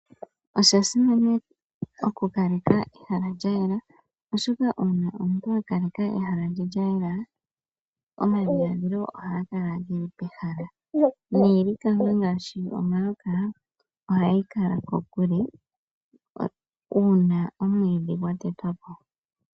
Osha simana oku kaleka ehala lya yela oshoka uuna omuntu a kaleka ehala lye lya yela omadhiladhilo ohaga kala geli pehala niilikama ngaashi omayoka ohayi kala kokule uuna omwiidhi gwa tetwa po.